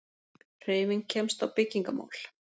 Hreyfing kemst á byggingarmál.